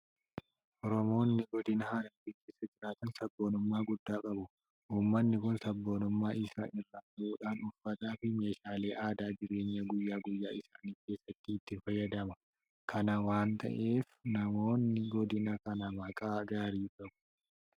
Oromoonni godina Harargee keessa jiraatan sabboonummaa guddaa qabu. Uummanni kun sabboonummaa isaa irraa ka'uudhaan uffataafi meeshaalee aadaa jireenya guyyaa guyyaa isaa keessatti itti fayyadama. Kana waanta ta'eef namoonni godina kanaa maqaa gaarii qabu.